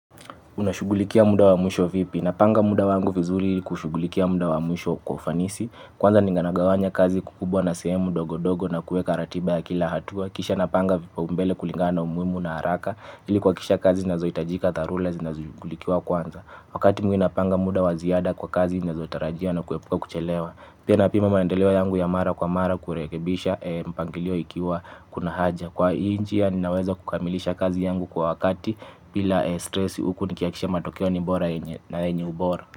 Unashughulikia muda wa mwisho vipi. Napanga muda wangu vizuri kushughulikia muda wa mwisho kwa ufanisi. Kwanza nina gawanya kazi kukubwa na sehemu ndogo ndogo na kuweka ratiba ya kila hatua. Kisha napanga vipau mbele kulingana na umuhimu na haraka. Ili kuhakikisha kazi nazohitajika dharura zinashughulikiwa kwanza. Wakati mwingi napanga muda wa ziada kwa kazi nazotarajia na kuepuka kuchelewa. Pia napima maendeleo yangu ya mara kwa mara kurekebisha mpangilio ikiwa kuna haja. Kwa hii njia ninaweza kukamilisha kazi yangu kwa wakati bila stress huku nikihakikisha matokeo ni bora na yenye ubora.